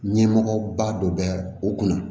Ɲɛmɔgɔba dɔ bɛ yan u kunna